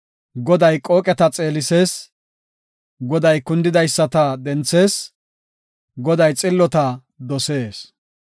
Goday qooqeta xeelisees. Goday kundidaysata denthees; Goday xillota dosees.